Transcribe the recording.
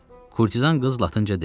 Kurtizan qız latınca dedi.